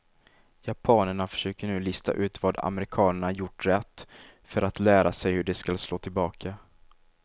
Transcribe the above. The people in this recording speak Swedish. Japanerna försöker nu lista ut vad amerikanerna gjort rätt för att lära sig hur de skall slå tillbaka.